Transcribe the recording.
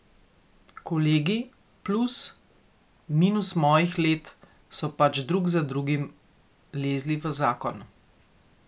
Kolegi, plus, minus mojih let so pač drug za drugim lezli v zakon.